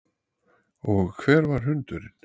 Og hver var hundurinn?